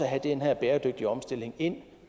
have den her bæredygtige omstilling ind